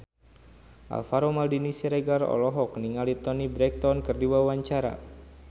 Alvaro Maldini Siregar olohok ningali Toni Brexton keur diwawancara